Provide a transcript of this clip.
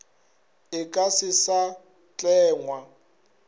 e ka se sa tlengwa